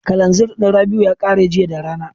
Kalanzir ɗin Rabi'u ya ƙare jiya da rana.